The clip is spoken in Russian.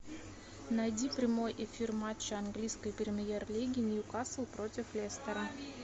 найди прямой эфир матча английской премьер лиги ньюкасл против лестера